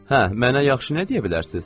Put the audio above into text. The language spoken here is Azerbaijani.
Hə, mənə yaxşı nə deyə bilərsiniz?